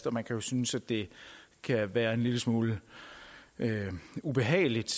og man kan jo synes det kan være en lille smule ubehageligt